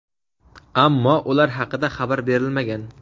ammo ular haqida xabar berilmagan.